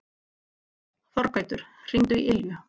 Þorgautur, hringdu í Ylju.